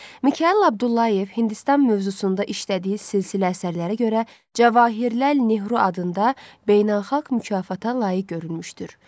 Mikayıl Abdullayev Hindistan mövzusunda işlədiyi silsilə əsərlərə görə Cavaxirləl Neru adında beynəlxalq mükafata layiq görülmüşdür.